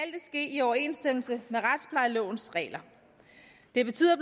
ske i overensstemmelse med retsplejelovens regler det betyder